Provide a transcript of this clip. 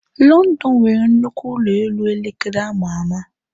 London nwere nnukwu ụlọ elu elekere ama ama.